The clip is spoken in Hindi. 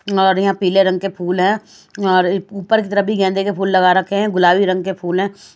और यहाँ पीले रंग के फूल हैं और इउ ऊपर की तरफ भी गैंदे के फूल लगा रखे हैं गुलाबी रंग के फूल हैं ।